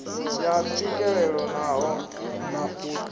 ya tswikelelo na ṱho ḓisiso